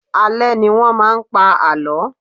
Alẹ́ ni wọn máa ń pa àlọ́.